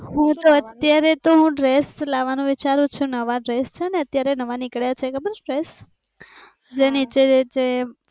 હુ તો અત્યારે તો હુ ડ્રેસ લાવાનુ વિચારૂ છુ નવા ડ્રેસ છે ને અત્યારે નવા નીકળ્યા છે ખબર છે ડ્રેસ. જે નીચે થી